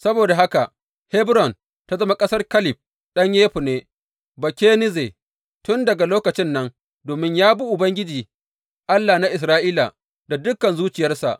Saboda haka Hebron ta zama ƙasar Kaleb ɗan Yefunne Bakenizze tun daga lokacin nan, domin ya bi Ubangiji, Allah na Isra’ila da dukan zuciyarsa.